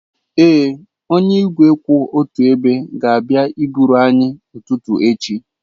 Ee, onye igwe kwụ otu ebe ga-abịa eburu anyị ụtụtụ echi.